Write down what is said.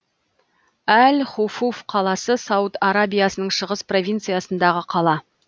әл хуфуф қаласы сауд арабиясының шығыс провинциясындағы қала